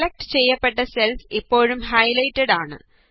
select ചെയ്യപ്പെട്ട cells ഇപ്പോഴും highlighted ആണ്